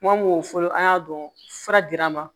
Kuma mo fɔlɔ an y'a dɔn fura dira n ma